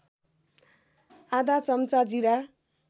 आधा चम्चा जीरा